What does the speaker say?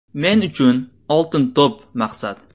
Men uchun ‘Oltin to‘p’ maqsad.